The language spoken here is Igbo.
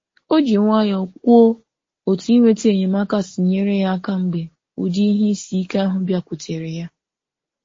O ji nwayọọ kwuo otu inweta enyemaka si nyere ya aka mgbe ụdị ihe isi ike ahụ bịakwutere ya.